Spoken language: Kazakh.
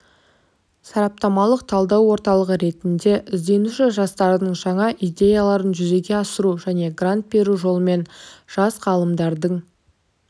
сараптамалық-талдау орталығы ретінде ізденуші жастардың жаңа идеяларын жүзеге асыру және грант беру жолымен жас ғалымдардың